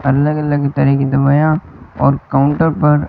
अलग अलग तरह की दवाईयां और काउंटर पर--